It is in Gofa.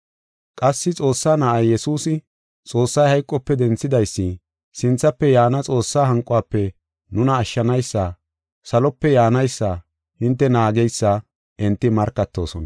Qassi Xoossaa Na7ay, Yesuusi, Xoossay hayqope denthidaysi, sinthafe yaana Xoossaa hanquwafe nuna ashshanaysi, salope yaanaysa hinte naageysa enti markatoosona.